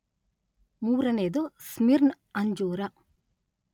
ಮೂರನೆಯದು ಸ್ಮಿರ್ನ್‌ ಅಂಜೂರ.